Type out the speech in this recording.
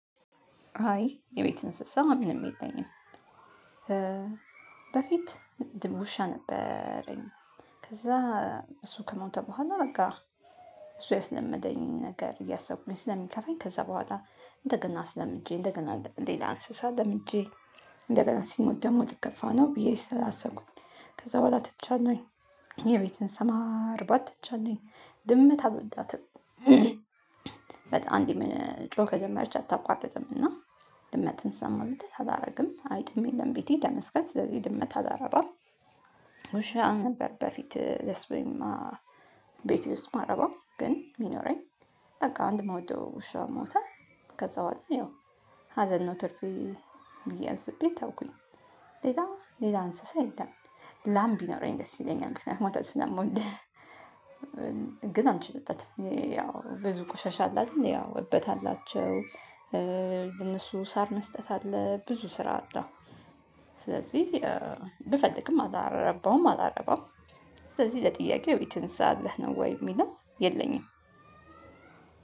አይ የቤት እንስሳ ምንም የለኝም። በፊት እንትን ውሻ ነበረኝ። ከዛ እሱ ከሞተ በኋላ በቃ እሱ ያስለመደኝ ነገር እያሰብኩኝ ስለሚከፋኝ። ከዛ በኋላ እንደገና አሰለምጄ እንደገና ሌላ እንስሳ ለምጄ። እንደገና ሲሞት ደግሞ ልከፋ ነው ብዬ ስላሰብኩኝ ከዛ በኋላ ትቻለሁኝ የቤት እንስሳ ማርባት ትቻለሁኝ። ድመት አልወዳትም። በጣም አንዴ መጮህ ከጀመረች አታቋርጥም እና ድመትን ስለማወዳት አላደርግም አይጥም የለም ቤቴ ተመስገን ስለዚህ ድመት አላረባም። ውሻ ነበር በፊት ደስ ብሎኝ። ቤቴ ውስጥ የማረባው ግን ሚኖረኝ። በቃ አንድ እምውደው ውሻ ሞተ። ከዛ በኋላ ያው ሀዘን ነው ትርፊ ብዬ አስቤ ተውኩኝ። ሌላ ሌላ እንስሳ የለም። ላም ቢኖረኝ ደስ ይለኛል ወተት ስለምወድ። ግን አልችልበትም ያው ብዙ ቆሻሻ አለ አደል ያው እበት አላቸው። ለእነሱ ሳር መስጠት አለ ብዙ ስራ አለው። ስለዚህ ብፈልግም አላረባውም አላረባውም። ስለዚህ ለጥያቄው የቤት እንስሳ አለህ ነው ወይ የሚለው? የለኝም።